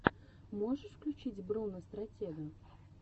можешь включить бруно стратега